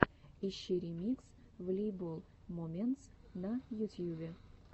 ищи ремикс волейбол моментс на ютьюбе